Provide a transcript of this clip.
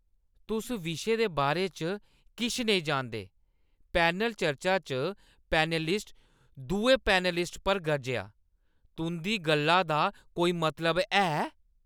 तुस विशे दे बारे च किश नेईं जानदे, पैनल चर्चा पैनलिस्ट दुए पैनलिस्ट पर गरजेआ। "तुंʼदी गल्ला दा कोई मतलब ऐ"